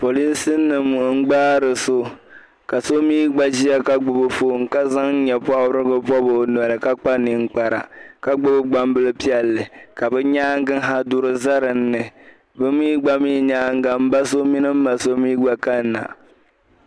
Polinsinima n-gbaari so ka so mi gba ʒiya ka gbubi fon ka zaŋ nyɛ’pɔbirigu pɔbi o noli ka kpa ninkpara ka gbubi gbambil’piɛlli ka bɛ nyaaŋa ha duri za din ni bɛ mi gba nyaaŋa m ba so mini m ma so gba kanina.